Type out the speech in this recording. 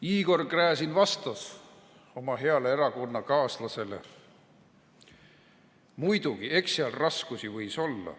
" Igor Gräzin vastas oma heale erakonnakaaslasele: "Muidugi, eks seal raskusi võis olla.